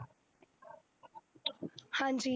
ਹਾਂਜੀ